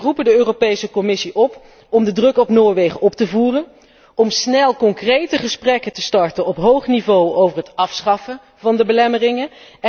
We roepen dus de Europese Commissie op om de druk op Noorwegen op te voeren, om snel concrete gesprekken te starten op hoog niveau over het afschaffen van de belemmeringen.